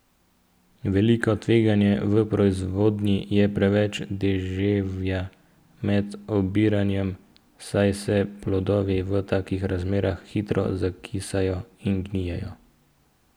Veliko tveganje v proizvodnji je preveč deževja med obiranjem, saj se plodovi v takih razmerah hitro zakisajo in gnijejo.